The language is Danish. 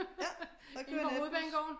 Ja der kører natbus